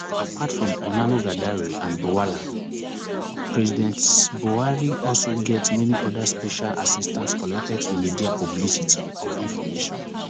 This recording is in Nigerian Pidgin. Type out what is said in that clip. apart from onanuga dare and bwala um president buhari also get many oda special assistants connected to media publicity or information